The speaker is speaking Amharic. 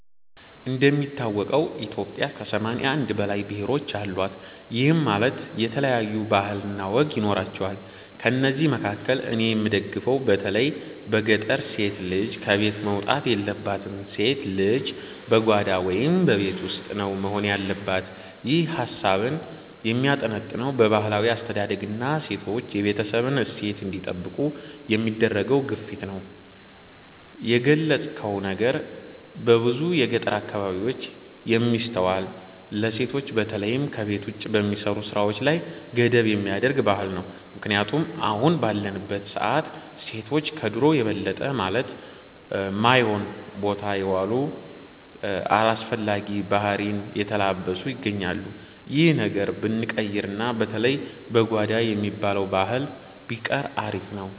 እንደሚታወቀው ኢትዮጵያ ከ81 በላይ ብሔሮች አሏት፤ ይህም ማለት የተለያዩ ባህል ወይም ወግ ይኖራቸዋል። ከእነዚህ መካከል እኔ የምደግፈው በተለይ በገጠር ሴት ልጅ ከቤት መውጣት የለባትም፣ ሴት ልጅ በጓዳ (በቤት ውስጥ) ነው መሆን ያለባት። ይህ ሃሳብህ የሚያጠነጥነው በባህላዊ አስተዳደግና ሴቶች የቤተሰብን እሴት እንዲጠብቁ በሚደረገው ግፊት ላይ ነው። የገለጽከው ነገር በብዙ የገጠር አካባቢዎች የሚስተዋል፣ ለሴቶች በተለይም ከቤት ውጭ በሚሰሩ ስራዎች ላይ ገደብ የሚያደርግ ባህል ነው። ምክንያቱም አሁን ባለንበት ሰዓት ሴቶች ከድሮው የበለጠ ማለት ማዮን ቦታ የዋሉ፣ አላስፈላጊ ባህሪን የተላበሱ ይገኛሉ። ይህ ነገር ብንቀይርና በተለይ "በጓዳ" የሚባለው ባህል ቢቆይ አሪፍ ነበር።